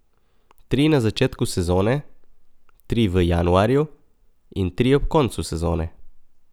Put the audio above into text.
Tri na začetku sezone, tri v januarju in tri ob koncu sezone.